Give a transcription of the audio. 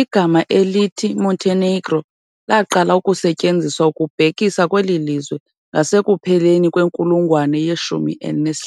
Igama elithi "Montenegro" laqala ukusetyenziswa ukubhekisa kweli lizwe ngasekupheleni kwenkulungwane ye-15.